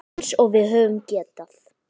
Eins og við höfum getað.